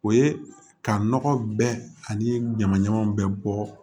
O ye ka nɔgɔ bɛɛ ani ɲamaɲama bɛɛ bɔ